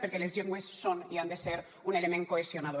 perquè les llengües són i han de ser un element cohesionador